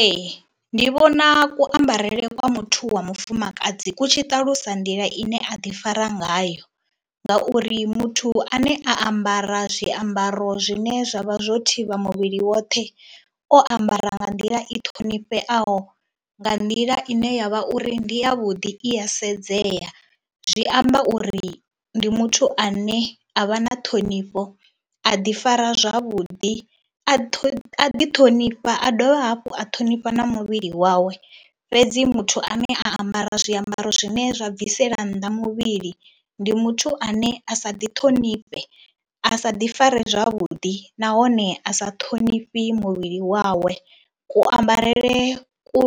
Ee, ndi vhona kuambarele kwa muthu wa mufumakadzi ku tshi ṱalusa nḓila ine a ḓifara ngayo ngauri muthu ane a ambara zwiambaro zwine zwa vha zwo thivha muvhili woṱhe, o ambara nga nḓila i ṱhonifheaho, nga nḓila ine ya vha uri ndi yavhuḓi i ya sedzea. Zwi amba uri ndi muthu ane a vha na ṱhonifho, a ḓifara zwavhuḓi a ḓiṱhonifha, a dovha hafhu a ṱhonifha na muvhili wawe. Fhedzi muthu ane a ambara zwiambaro zwine zwa bvisela nnḓa muvhili ndi muthu ane a sa ḓiṱhonifhe, a sa ḓifari zwavhuḓi nahone a sa ṱhonifhi muvhili wawe. Kuambarele ku